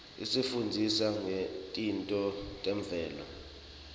isifundzisa ngetintfo temvelo